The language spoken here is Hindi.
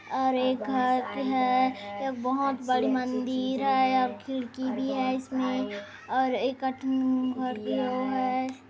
--और एक घर है एक बोहत बड़ी मंदिर है और खिड़की भी है इसमें और एक घर भी है।